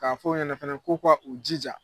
K'a fo ɲɛnɛ fɛnɛ ko ka u jija